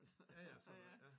Ja ja så ja